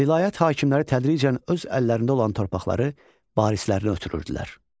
Vilayət hakimləri tədricən öz əllərində olan torpaqları barislərinə ötürürdülər.